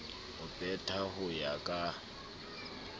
ho petha ho ya ka